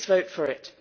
Please vote for it.